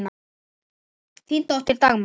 Þín dóttir, Dagmar.